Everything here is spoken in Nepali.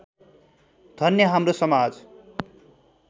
धन्य हाम्रो समाज